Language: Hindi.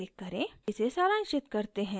इसे सारांशित करते हैं